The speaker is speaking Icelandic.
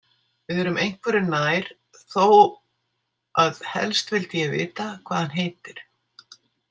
Við erum einhverju nær þó að helst vildi ég vita hvað hann heitir.